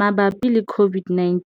Mabapi le COVID-19,